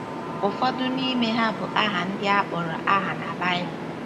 Ụfọdụ n’ime ha bu aha ndị a kpọrọ aha na Baịbụl.